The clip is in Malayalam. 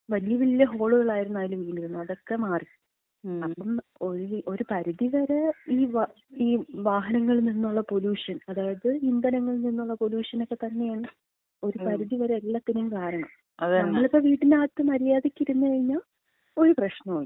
വലിയ വലിയ ഹോളുകളായിരുന്നു അതില് വീണിരുന്നെ, അതൊക്കെ മാറി. അപ്പം ഒരു പരിധിവരെ ഈ വാഹന, ഈ വാഹനങ്ങളിന്നൊള്ള പൊലൂഷൻ, അതായത് ഇന്ധനങ്ങളിന്നൊള്ള പൊലൂഷനക്ക തന്നെയാണ് ഒരു പരിധി വരെ എല്ലാത്തിനും കാരണം. നമ്മളിപ്പം വീടിനകത്ത് മര്യാദക്കിരുന്ന് കഴിഞ്ഞാ ഒരു പ്രശ്നോല്ല.